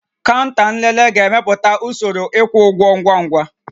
Kaụnta nlele ga-emepụta usoro ịkwụ ụgwọ ngwa ngwa